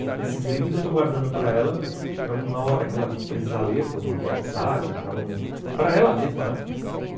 Então, esses livros eu estou guardando para ela, para uma hora que ela precisa ler, para uma faculdade, para um... para ela mesma, né?